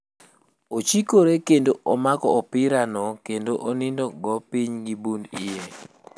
Ochikore kendo omako opira no kendo onido go piny gi bund iye.